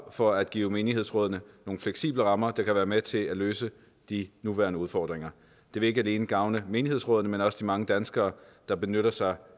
for at give menighedsrådene nogle fleksible rammer der kan være med til at løse de nuværende udfordringer det vil ikke alene gavne menighedsrådene men også de mange danskere der benytter sig